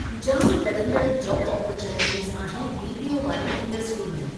जामु वधंदड़ु job opportunities आहिनि बीपीओ वारी इंडस्ट्री में।